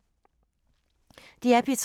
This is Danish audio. DR P3